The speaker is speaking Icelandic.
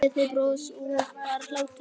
Gleði, bros og bara hlátur.